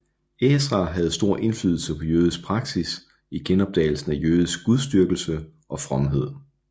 Ezra havde stor indflydelse på jødisk praksis i genopdagelsen af jødisk gudsdyrkelse og fromhed